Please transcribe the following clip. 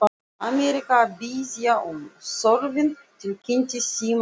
Ameríka að biðja um Þorfinn tilkynnti símastúlkan.